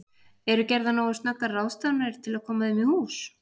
Eru gerðar nógu snöggar ráðstafanir til að koma þeim í hús?